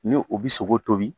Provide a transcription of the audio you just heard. Ni u bɛ sogo tobi.